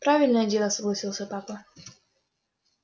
правильное дело согласился папа